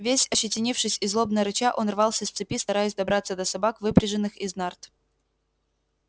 весь ощетинившись и злобно рыча он рвался с цепи стараясь добраться до собак выпряженных из нарт